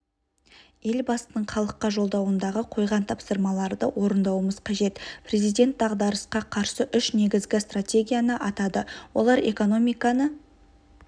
елбасының халыққа жолдауындағы қойған тапсырмаларды орындауымыз қажет президент дағдарысқа қарсы үш негізгі стратегияны атады олар экономиканы